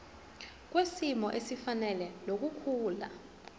kwisimo esifanele nokukhula